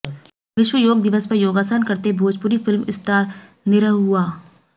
विश्व योग दिवस पर योगासन करते भोजपुरी फिल्म स्टार निरहुआ